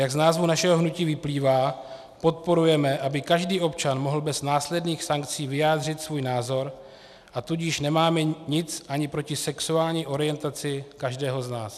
Jak z názvu našeho hnutí vyplývá, podporujeme, aby každý občan mohl bez následných sankcí vyjádřit svůj názor, a tudíž nemáme nic ani proti sexuální orientaci každého z nás.